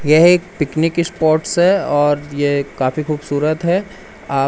यह एक picnic spots है और ये काफी खूबसूरत है आप--